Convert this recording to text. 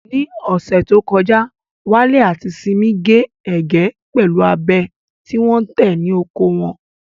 Ní ọ̀sẹ̀ tó kọjá, Wale àti Simi gé ẹ̀gẹ́ pẹ̀lú abẹ tí wọ́n tẹ̀ ní oko wọn.